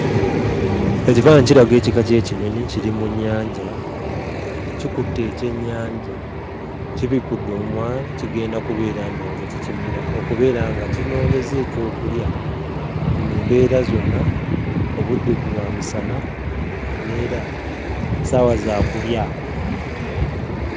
Ekifaananyi kiraga ekika ky'ekinyonyi, kiri mu nnyanja, kikutte ekyennyanja. Kibikudde omumwa kigenda kubeera ndowooza kikimira, okubeera nga kinoonyezza ekyokulya mu mbeera zonna, obudde bwa misana neera ssaawa za kulya.